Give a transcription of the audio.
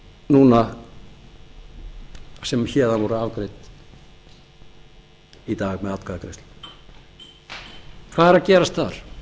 núna sem héðan voru afgreidd í dag með atkvæðagreiðslu hvað er að gerast þar